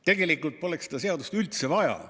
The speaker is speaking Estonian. Tegelikult poleks seda seadust üldse vaja.